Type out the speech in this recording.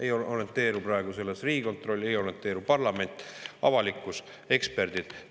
Ei orienteeru praegu selles Riigikontroll, ei orienteeru parlament, avalikkus ega eksperdid.